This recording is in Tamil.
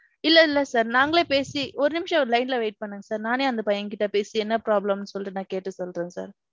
இல்ல இல்ல sir. நாங்களே பேசி ஒரு நிமிஷம் line ல wait பன்னுங்க sir. நானே அந்த பையன்கிட்ட பேசி என்ன problem ன்னு சொல்லிட்டு நான் கேட்டு சொல்றேன் sir.